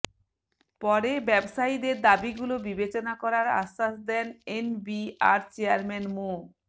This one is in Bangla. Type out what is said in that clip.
পরে ব্যবসায়ীদের দাবিগুলো বিবেচনা করার আশ্বাস দেন এনবিআর চেয়ারম্যান মো